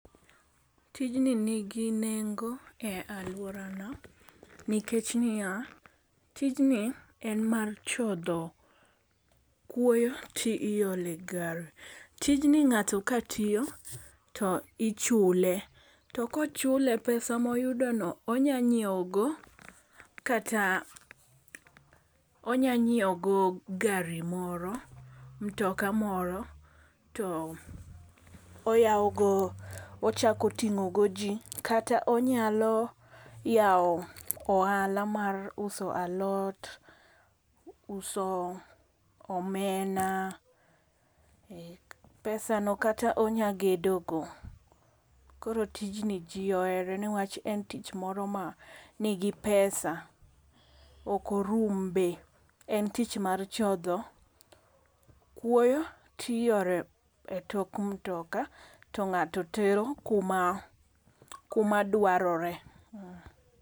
Tijni nigi nengo e alworana. Nikech niya, tijni en mar chodho kuoyo ti iole gari. Tijni ngáto ka tiyo to ichule. To kochule, pesa ma oyudono onyalo nyiewo go kata, onya nyiewo go gari moro, mtoka moro. To oyao go, ochako tingó go ji, kata onyalo yawo ohala mar uso alot, uso omena, e, pesa no kata onyalo gedo go. Koro tijni ji ohere nikech en tich moro ma nigi pesa, okorum be. En tich mar chodho kuoyo, tiole tok mtoka, to ngáto tero kuma, kuma dwarore.